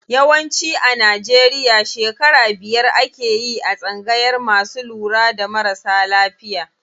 Yawanci a Najeriya shekara biyar akeyi a tsangayar masu lura da marasa lafiya.